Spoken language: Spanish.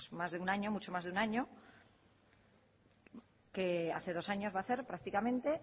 más de un año mucho más de un año hace dos años va a hacer prácticamente